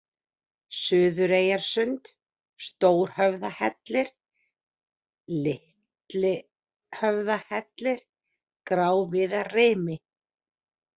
Suðureyjarsund, Stórhöfðahellir, Litlhöfðahellir, Gráviðarrimi